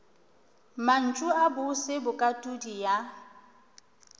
mantšu a bose bokatodi ya